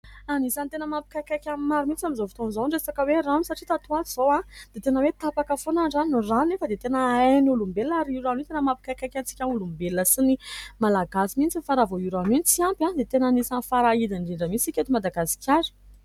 Anisan'ny tena mampikaikaika ny maro mihitsy amin'izao fotoana izao ny resaka hoe rano satria tato ho ato izao dia tena hoe tapaka foana ny rano, ny rano anefa dia tena ain'ny olombelona ary io rano io tena mampikaikaika antsika olombelona sy ny malagasy mihitsy fa raha vao io rano io no tsy ampy dia tena anisany farahidiny indrindra mihitsy isika eto Madagasikara.